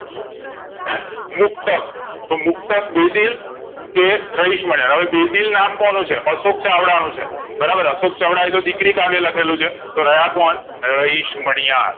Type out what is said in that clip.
મુક્તક તો મુક્તક બેદીલ કે રહીશમણાંયર હવે બેદિલ નામ કોનું છે અશોક ચાવડા નું બરાબર અશોક ચાવડા એ તો દીકરી કાવ્ય લખેલું છે તો રહ્યા કોણ રહીશમણાંયર